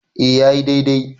e ya yi dai-dai